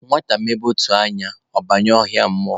Nwata mebe ụtụ anya, ọ banye ọhịa mmụọ